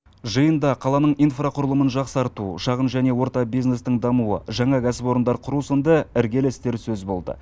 жиында қаланың инфрақұрылымын жақсарту шағын және орта бизнестің дамуы жаңа кәсіпорындар құру сынды іргелі істер сөз болды